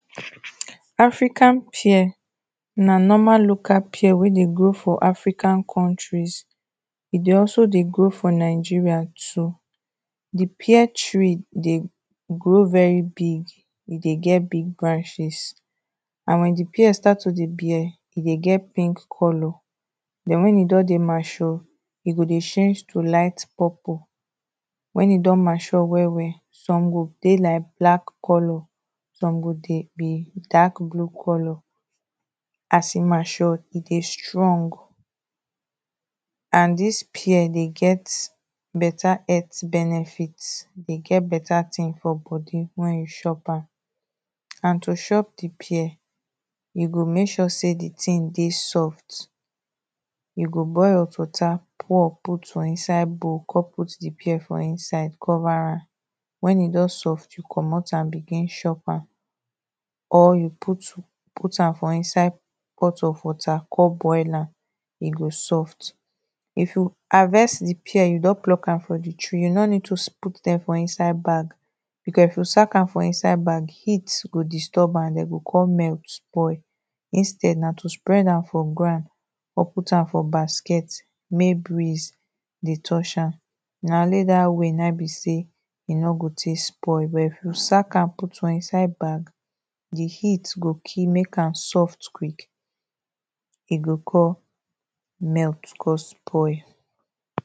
African pear na normal local pear wey dey grow for African countries, e dey also dey grow for Nigeria too. The pear tree dey grow very big, e dey get big branches and when the pear start to dey bear e dey get pink colour, den when e don dey mature, e go dey change to light purple, when e don mature well well, some go dey like black colour, some go dey be dark blue colour, as e mature e dey strong and dis pear dey get better health benefit, dey get better ting for body when you chop am and to chop the pear you go mek sure sey the ting dey soft, you go boil hot water pour out for inside bowl, con put the pear for inside, con cover am, when e don soft, you comot am begin chop am, or you put, put am for inside pot of water con boil am e go soft. If you harvest the pear, you don pluck am from the tree you no need to put am for inside bag because if you sack am for inside bag, heat go disturb am, and den e go con melt, spoil, instead na to spread am for ground con put am for basket mey breeze dey touch am. Na only dat way na e be sey, e no go tek spoil, but if you sack am put for inside bag, the heat go kill, mek am soft quick, e go con melt con spoil.